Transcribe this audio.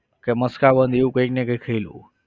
કે મસ્કાબન એવું કઈક ને કઈક ખાઈ લઉં.